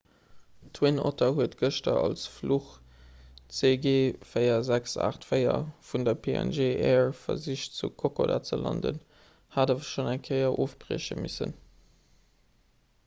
d'twin otter huet gëschter als fluch cg4684 vun der png air versicht zu kokoda ze landen hat awer schonn eng kéier ofbrieche missen